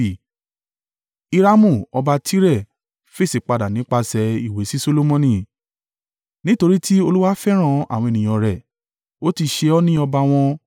Hiramu ọba Tire fèsì padà nípasẹ̀ ìwé sí Solomoni: “Nítorí tí Olúwa fẹ́ràn àwọn ènìyàn rẹ̀, ó ti ṣe ọ́ ní ọba wọn.”